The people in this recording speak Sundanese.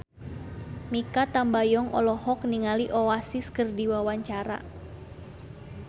Mikha Tambayong olohok ningali Oasis keur diwawancara